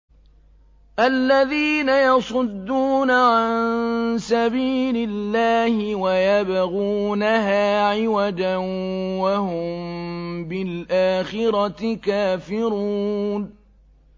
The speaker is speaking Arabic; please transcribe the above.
الَّذِينَ يَصُدُّونَ عَن سَبِيلِ اللَّهِ وَيَبْغُونَهَا عِوَجًا وَهُم بِالْآخِرَةِ كَافِرُونَ